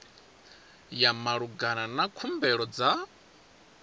ya malugana na khumbelo dza